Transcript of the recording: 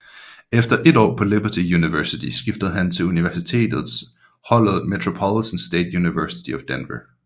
Efter 1 år på Liberty University skiftede han til universitets holdet Metropolitan State University of Denver